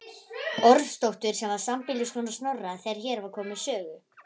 Ormsdóttur sem var sambýliskona Snorra þegar hér var komið sögu.